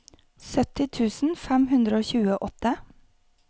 sytti tusen fem hundre og tjueåtte